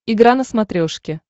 игра на смотрешке